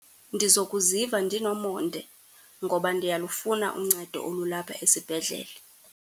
Ndizokuziva ndinomonde, ngoba ndiyalufuna uncedo olulapha esibhedlele.